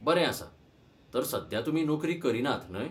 बरें आसा. तर, सध्या तुमी नोकरी करीनात, न्हय?